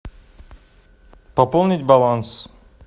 пополнить баланс